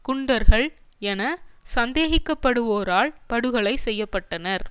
குண்டர்கள் என சந்தேகிக்கப்படுவோரால் படுகொலை செய்ய பட்டனர்